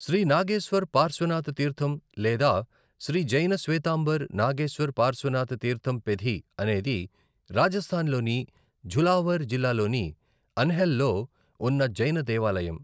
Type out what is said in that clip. శ్రీ నాగేశ్వర్ పార్శ్వనాథ్ తీర్థం లేదా శ్రీ జైన శ్వేతాంబర్ నాగేశ్వర్ పార్శ్వనాథ్ తీర్థం పెధి అనేది రాజస్థాన్లోని ఝలావర్ జిల్లాలోని అన్హెల్లో ఉన్న జైన దేవాలయం.